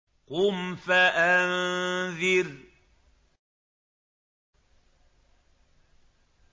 قُمْ فَأَنذِرْ